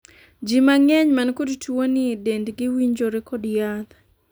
jii mang'eny man kod tuo ni dendgi winjore kod yath